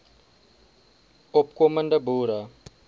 opko mende boere